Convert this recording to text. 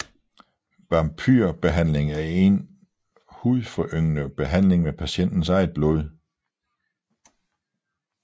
Vampyr behandling er en hudforyngende behandling med patientens eget blod